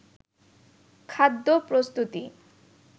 খাদ্য প্রস্তুতি